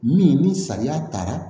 Min ni sariya taara